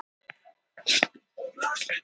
Lærum af sögunni